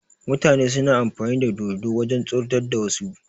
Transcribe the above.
Mutane suna amfani da dodo wajen tsoratar da wasu